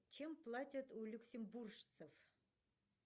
чем платят у люксембуржцев